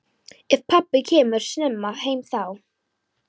Ef pabbi kemur snemma heim þá.